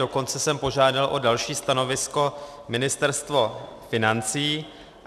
Dokonce jsem požádal o další stanovisko Ministerstvo financí.